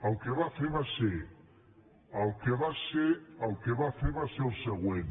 el que va fer va ser el que va fer va ser el següent